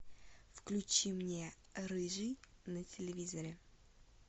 включи мне рыжий на телевизоре